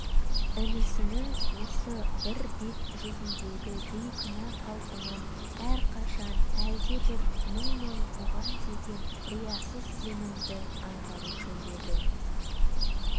інісінің осы бір бет-жүзіндегі бейкүнә қалпынан әрқашан әлдебір мұң мен бұған деген риясыз сенімді аңғарушы еді